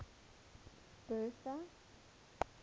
bertha